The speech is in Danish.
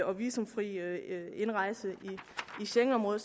og visumfri indrejse i schengenområdet